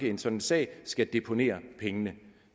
i en sådan sag skal deponere pengene